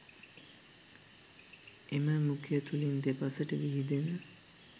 එම මුඛය තුළින් දෙපසට විහිදෙන